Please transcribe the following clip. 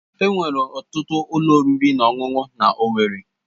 Enwere ọtụtụ ụlọ oriri na ọṅụṅụ na owerri.